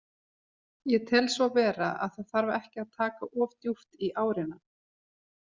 Ég tel svo vera, það þarf ekki að taka of djúpt í árina.